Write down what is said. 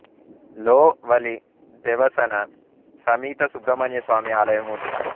లో వలీ దెవసెన సమీత సుబ్రహ్మన్య స్వామి ఆలయము ఉంది